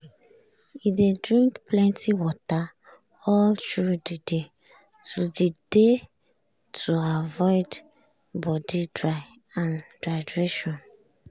e dey drink plenty water all through the day to the day to avoid body dry and dehydration.